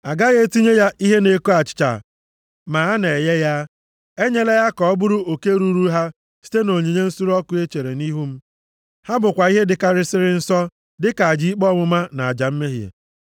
Agaghị etinye ya ihe na-eko achịcha ma a na-eghe ya. Enyela ya ka ọ bụrụ oke ruuru ha site nʼonyinye nsure ọkụ e chere nʼihu m. Ha bụkwa ihe dịkarịsịrị nsọ, dịka aja ikpe ọmụma na aja mmehie.